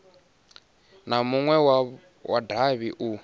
na munwe wa davhi u